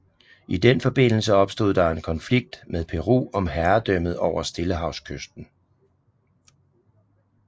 I den forbindelse opstod der en konflikt med Peru om herredømmet over Stillehavskysten